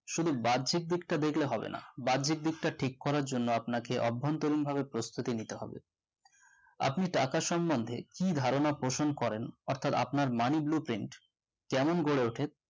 শুধু বার্জিক দিকটা দেখলে হবে না বার্জিকদিকটা ঠিক করার জন্য আপনাকে অভ্যান্তরিন ভাবে প্রস্তুতি নিতে হবে আপনি টাকা সম্মন্ধে কি ধারণা পোষণ করেন অর্থাৎ আপনার money blueprint কেমন গড়ে ওঠে